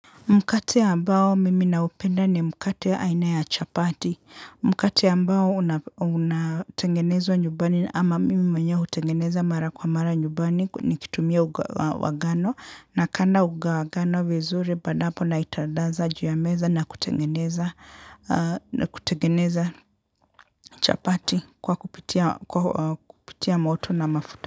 Mkati ambao mimi naupenda ni mkati ya aina ya chapati. Mkate ambao unatengenezwa nyumbani ama mimi mwenyewe utengeneza mara kwa mara nyumbani ni kitumia unga wa ngano. Na kanda unga wa ngano vizuri baada hapo naintadaza juu ya meza na kutengeneza chapati kwa kupitia moto na mafuta.